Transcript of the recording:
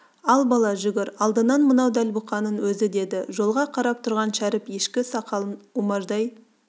ал бала жүгір алдынан мынау дәл бұқаның өзі деді жолға қарап тұрған шәріп ешкі сақалын умаждай